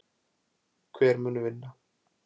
Hver mun vinna?!!!